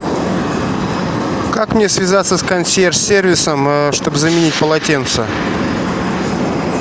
как мне связаться с консьерж сервисом чтобы заменить полотенце